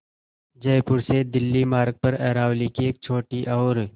जयपुर से दिल्ली मार्ग पर अरावली की एक छोटी और